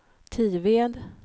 Tived